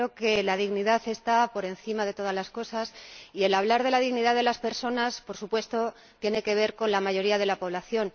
Yo creo que la dignidad está por encima de todas las cosas y el hablar de la dignidad de las personas, por supuesto, tiene que ver con la mayoría de la población.